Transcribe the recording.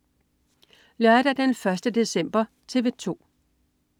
Lørdag den 1. december - TV 2: